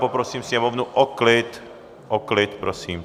Poprosím Sněmovnu o klid, o klid, prosím.